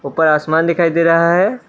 ऊपर आसमान दिखाई दे रहा है।